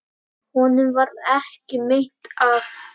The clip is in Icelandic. Honum varð ekki meint af.